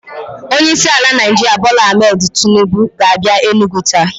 Onye isi ala Naijiria Bola Ahmed Tinubu ga a bia Enugwu taa